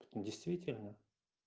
действительно